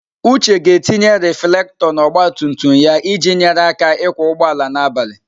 Uche ga-etinye reflektor na ọgba tum tum ya iji nyere ya aka ịkwọ ụgbọala n'abalị.